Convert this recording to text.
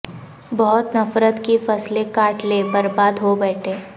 بہت نفرت کی فصلیں کاٹ لیں برباد ہو بیٹھے